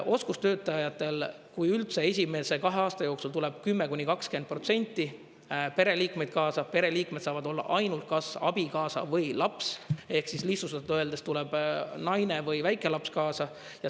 Oskustöötajatel, kui üldse, esimese kahe aasta jooksul tuleb 10–20% pereliikmeid kaasa, pereliikmed saavad olla ainult kas abikaasa või laps ehk lihtsustatult öeldes tuleb naine või väikelaps kaasa.